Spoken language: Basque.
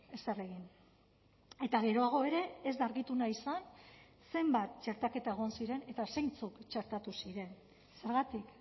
ezer egin eta geroago ere ez da argitu nahi izan zenbat txertaketa egon ziren eta zeintzuk txertatu ziren zergatik